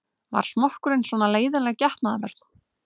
Var smokkurinn svona leiðinleg getnaðarvörn?